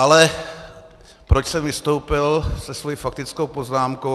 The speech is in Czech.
Ale proč jsem vystoupil se svou faktickou poznámkou?